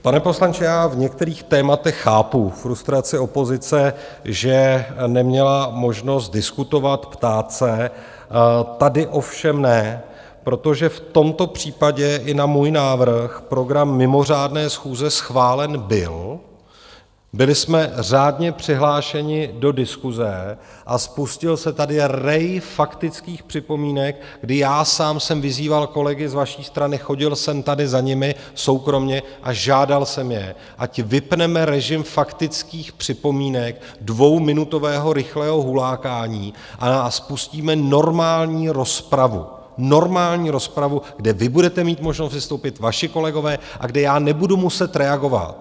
Pane poslanče, já v některých tématech chápu frustraci opozice, že neměla možnost diskutovat, ptát se, tady ovšem ne, protože v tomto případě i na můj návrh program mimořádné schůze schválen byl, byli jsme řádně přihlášeni do diskuse a spustil se tady rej faktických připomínek, kdy já sám jsem vyzýval kolegy z vaší strany, chodil jsem tady za nimi soukromě a žádal jsem je, ať vypneme režim faktických připomínek, dvouminutového rychlého hulákání, a spustíme normální rozpravu, normální rozpravu, kde vy budete mít možnost vystoupit, vaši kolegové, a kde já nebudu muset reagovat.